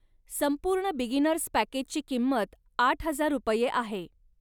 संपूर्ण बिगिनर्स पॅकेजची किंमत आठ हजार रुपये आहे.